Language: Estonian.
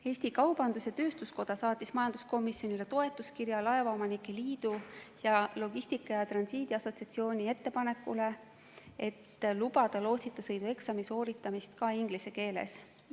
Eesti Kaubandus-Tööstuskoda saatis majanduskomisjonile toetuskirja, kus toetab Eesti Laevaomanike Liidu ning Logistika ja Transiidi Assotsiatsiooni ettepanekut lubada lootsita sõidu eksami sooritamist ka inglise keeles.